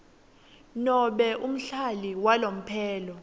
nobe umhlali walomphelo